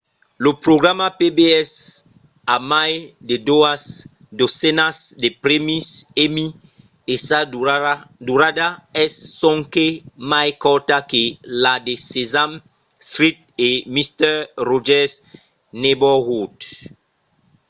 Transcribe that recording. lo programa pbs a mai de doas dotzenas de prèmis emmy e sa durada es sonque mai corta que la de sesame street e mister rogers' neighborhood